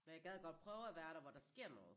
Men jeg gad godt prøve at være der hvor der sker noget